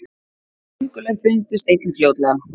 köngulær fundust einnig fljótlega